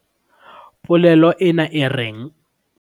polelo ena e reng?